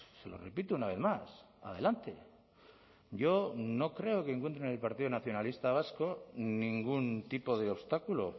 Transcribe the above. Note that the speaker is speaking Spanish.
se lo repito una vez más adelante yo no creo que encuentre en el partido nacionalista vasco ningún tipo de obstáculo